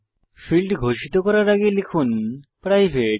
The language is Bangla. ফীল্ড ঘোষিত করার আগে লিখুন প্রাইভেট